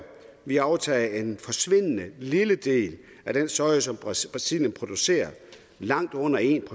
vi aftager en forsvindende lille del af den soja som brasilien producerer langt under en